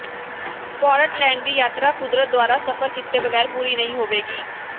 Portland ਦੀ ਯਾਤਰਾ ਕੁਦਰਤ ਦੁਆਰਾ ਸਫ਼ਰ ਕੀਤੇ ਬਗੈਰ ਪੂਰੀ ਨਹੀਂ ਹੋਵੇਗੀ